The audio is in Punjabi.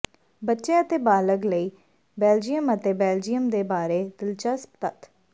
ਬੱਚੇ ਅਤੇ ਬਾਲਗ ਲਈ ਬੈਲਜੀਅਮ ਅਤੇ ਬੈਲਜੀਅਮ ਦੇ ਬਾਰੇ ਦਿਲਚਸਪ ਤੱਥ